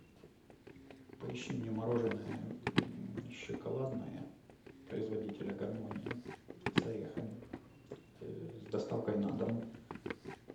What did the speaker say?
поищи мне мороженое шоколадное производителя гармония с орехами с доставкой на дом